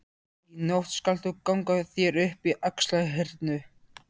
Í nótt skalt þú ganga þér upp í Axlarhyrnu.